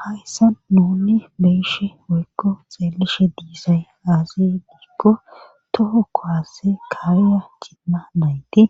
hayssa nuni be'ishe woykko xeelishe diisay aaze giikko toho kuwase kaa'iya cimma nayti